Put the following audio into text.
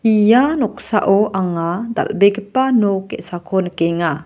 ia noksao anga dal·begipa nok ge·sako nikenga.